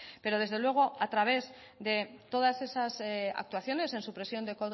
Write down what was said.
pero desde luego a través de todas esas actuaciones en supresión de